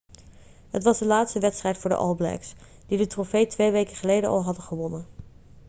het was de laatste wedstrijd voor de all blacks die de trofee twee weken geleden al hadden gewonnen